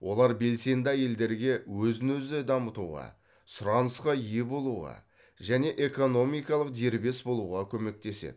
олар белсенді әйелдерге өзін өзі дамытуға сұранысқа ие болуға және экономикалық дербес болуға көмектеседі